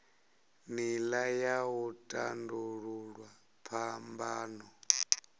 nila ya u tandululwa phambano